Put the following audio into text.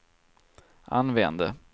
använde